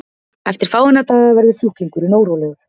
eftir fáeina daga verður sjúklingurinn órólegur